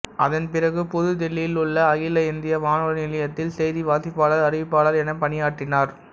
அதன் பிறகு புதுதில்லியிலுள்ள அகில இந்திய வானொலி நிலையத்தில் செய்தி வாசிப்பாளர் அறிவிப்பாளர் எனப் பணியாற்றினார்